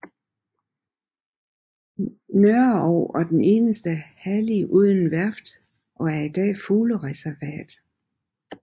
Nørreog er den eneste hallig uden værft og er i dag fuglereservat